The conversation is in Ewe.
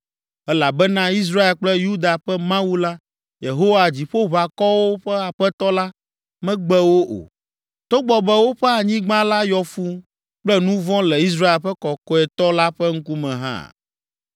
Elabena Israel kple Yuda ƒe Mawu la Yehowa Dziƒoʋakɔwo ƒe Aƒetɔ la, megbe wo o, togbɔ be woƒe anyigba la yɔ fũu kple nu vɔ̃ le Israel ƒe Kɔkɔetɔ la ƒe ŋkume hã.